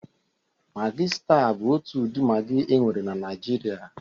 Magị staa bụ otu ụdị magị e nwere na Naịjirịa.